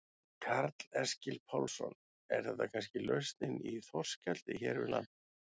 Karl Eskil Pálsson: Er þetta kannski lausnin í þorskeldi hér við land?